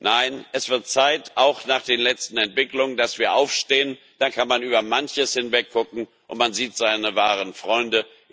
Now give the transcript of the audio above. Nein, es wird Zeit auch nach den letzten Entwicklungen dass wir aufstehen, dann kann man über manches hinwegsehen und man sieht seine wahren Freunde.